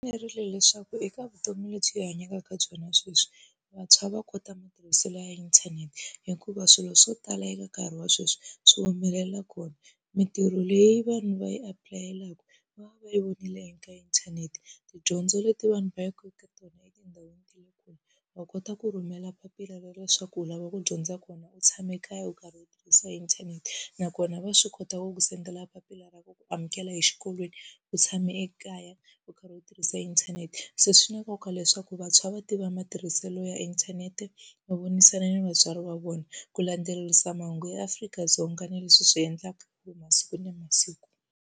Leswaku eka vutomi lebyi hi hanyaka eka byona sweswi, vantshwa va kota matirhiselo ya inthanete hikuva swilo swo tala eka nkarhi wa sweswi swi humelela kona. Mintirho leyi vanhu va yi apulayeleke va va va yi vonile eka inthanete, tidyondzo leti vanhu va yaka eka tona etindhawini ta le kule, va kota ku rhumela papila ra leswaku u lava ku dyondza kona u tshame kaya u karhi u tirhisa inthanete. Nakona va swi kota ku ku send-ela papila ra ku ku amukela exikolweni u tshame ekaya u ka ri u tirhisa inthanete. Se swi na nkoka leswaku vantshwa va tiva matirhiselo ya inthanete, no vonisana ni vatswari va vona ku landzelerisa mahungu ya Africa-Dzonga na leswi swi endlaka hi masiku na masiku.